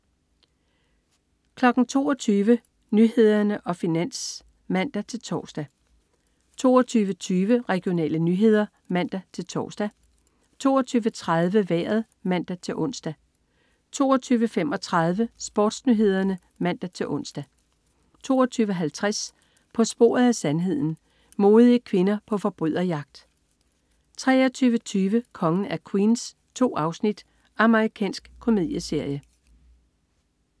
22.00 Nyhederne og Finans (man-tors) 22.20 Regionale nyheder (man-tors) 22.30 Vejret (man-ons) 22.35 SportsNyhederne (man-ons) 22.50 På sporet af sandheden. Modige kvinder på forbryderjagt 23.20 Kongen af Queens. 2 afsnit. Amerikansk komedieserie